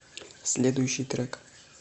следующий трек